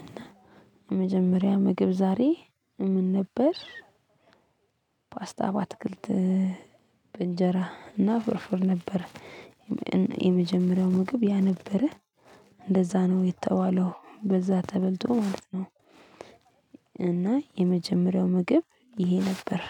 እና የመጀመሪያ ምግብ ዛሬ ምን ነበር? ፓስታ በአትክልት በእንጀራ እና ፍርፍር ነበረ። የመጀመሪያው ምግብ ያ ነበረ። እንደዛ ነው የተባለው በዛ ተበልቶ ማለት ነው። እና የመጀመሪያው ምግብ ይሄ ነበር